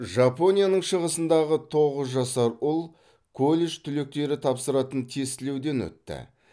жапонияның шығысындағы тоғыз жасар ұл колледж түлектері тапсыратын тестілеуден өтті